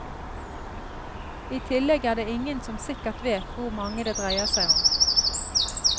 I tillegg er det ingen som sikkert vet hvor mange det dreier seg om.